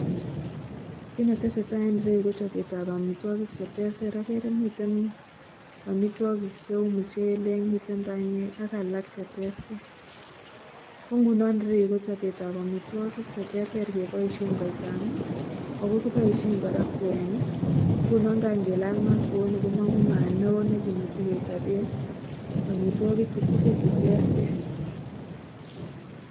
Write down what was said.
Kit netesetai en ireyu ko chobetab amitwokik cheterter akere miten amitwokik cheu muchelek, miten banyek ak alak cheterter. kongunon ireyu kochobetab amitwokik cheterter keboisien koitama ako kiboisien kora kwenik ngunon kangilal mat kouni komong'u mat neo nekimuche kechoben amitwoki chutugul chuterter.